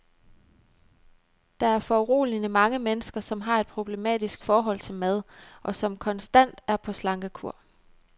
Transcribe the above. Der er foruroligende mange mennesker, som har et problematisk forhold til mad, og som konstant er på slankekur.